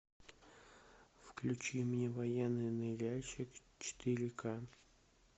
включи мне военный ныряльщик четыре ка